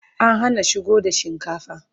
an Hana shigo da shinkafa